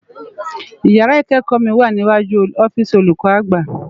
Ìyàrá ikèékò mi wá niwájú òfisi ólúkò ágbá